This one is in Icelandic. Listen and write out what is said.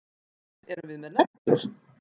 Til hvers erum við með neglur?